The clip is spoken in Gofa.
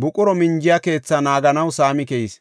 buqura minjiya keethaa naaganaw saami keyis.